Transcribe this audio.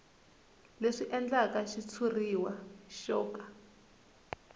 leswi endlaka xitshuriwa xo ka